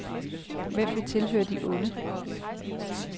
Hvem vil tilhøre de onde?